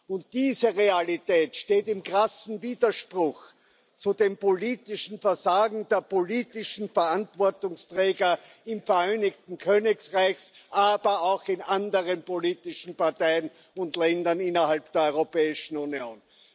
Und diese Realität steht im krassen Widerspruch zu dem politischen Versagen der politischen Verantwortungsträger im Vereinigten Königreich, aber auch in anderen politischen Parteien und Ländern innerhalb der Europäischen Union.